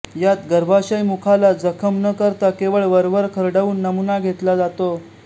यात गर्भाशयमुखाला जखम न करता केवळ वरवर खरवडून नमुना घेतला जातो